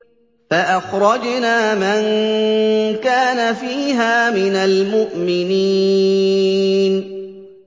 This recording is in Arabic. فَأَخْرَجْنَا مَن كَانَ فِيهَا مِنَ الْمُؤْمِنِينَ